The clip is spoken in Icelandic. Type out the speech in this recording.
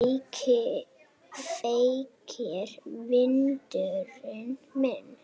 Feykir vindurinn mér.